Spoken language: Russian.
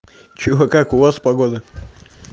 что да как у вас погода